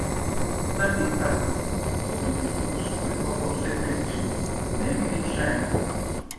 na big taboo to pick fruit wey fall from sacred tree near village shrine